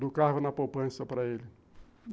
do carro na poupança para ele.